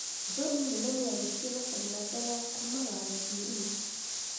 John Nene nĩ aarĩtie na Saina mbere ya kumagara gũthiĩ Rio.